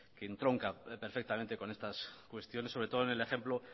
que entronca perfectamente con estas cuestiones sobre todo en el ejemplo